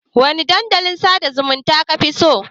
Wane dandalin sada zumunta kafi so?